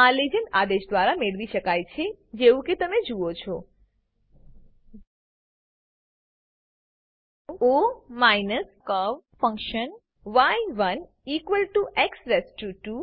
આ લીજેન્ડ આદેશ દ્વારા મેળવી શકાય છે જેવું કે તમે જુઓ છો ઓ કર્વ ફંક્શન y1x2